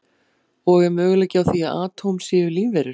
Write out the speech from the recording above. Og er möguleiki á því að atóm séu lífverur?